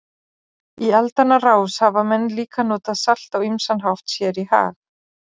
Í aldanna rás hafa menn líka notað salt á ýmsan hátt sér í hag.